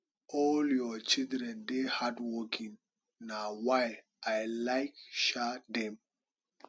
all your children dey hardworking na why i like um dem